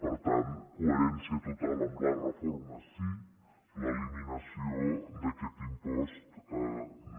per tant coherència total amb la reforma sí l’eliminació d’aquest impost no